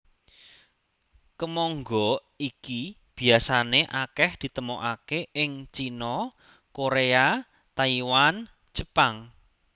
Kemangga iki biasané akèh ditemokaké ing Cina Koréa Taiwan Jepang